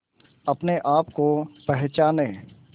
अपने आप को पहचाने